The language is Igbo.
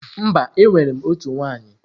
Mba, enwere m otu nwunye.